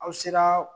Aw sera